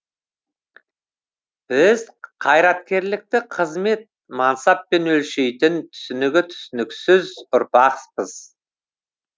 біз қайраткерлікті қызмет мансаппен өлшейтін түсінігі түсініксіз ұрпақпыз